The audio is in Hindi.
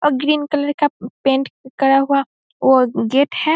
और ग्रीन कलर का पेंट करा हुआ और गेट है।